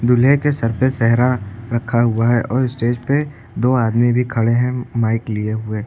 दूल्हे के सर पे सेहरा रखा हुआ है और स्टेज पे दो आदमी भी खड़े हैं माइक लिए हुए।